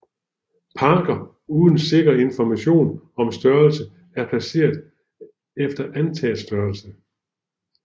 Parker uden sikker information om størrelse er placeret efter antaget størrelse